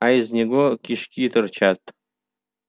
а из него кишки торчат